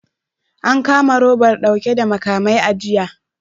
An kama robar dauke da makamai a jiya